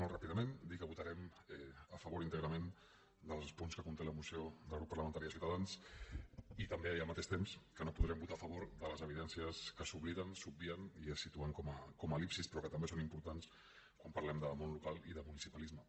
molt ràpidament dir que votarem a favor íntegrament dels punts que conté la moció del grup parlamentari de ciutadans i tam·bé i al mateix temps que no podrem votar a favor de les evidències que s’obliden s’obvien i es situen com a el·lipsis però que també són importants quan par·lem de món local i de municipalisme